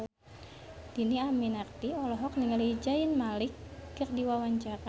Dhini Aminarti olohok ningali Zayn Malik keur diwawancara